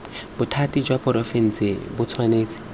bothati jwa porofense bo tshwanetse